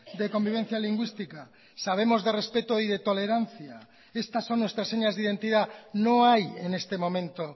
de convivencia lingüística sabemos de respeto y de tolerancia estas son nuestras señas de identidad no hay en este momento